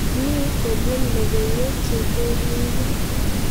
Ni kobun logoiwek chekeringin